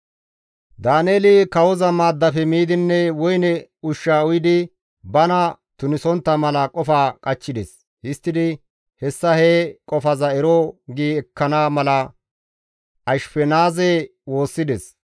Daaneeli kawoza maaddafe miidinne woyne ushsha uyidi bana tunisontta mala qofa qachchides; histtidi hessa he qofaza ero gi ekkana mala Ashifenaaze woossides.